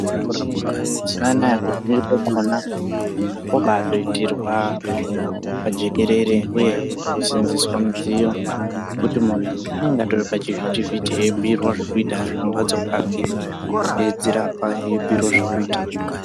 Kurapwa mazuwa anaya kazhinji kwakhona kwobaatoitirwa pajikerere uyehe poseenzeswa midziyo yekuti muntu unonga atori pachivhitivhiti eitobhuirwe zvekuita ari kumbatso kwake eidzirapa eibhuirwe zvekuita.